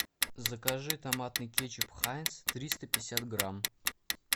закажи томатный кетчуп хайнц триста пятьдесят грамм